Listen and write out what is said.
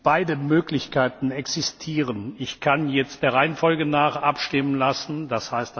Beide Möglichkeiten existieren Ich kann jetzt der Reihenfolge nach abstimmen lassen, d.